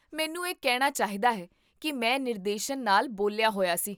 ਮੈਨੂੰ ਇਹ ਕਹਿਣਾ ਚਾਹੀਦਾ ਹੈ ਕੀ ਮੈਂ ਨਿਰਦੇਸ਼ਨ ਨਾਲ ਬੋਲਿਆ ਹੋਇਆ ਸੀ